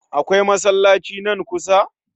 Akwai masallaci nan kusa?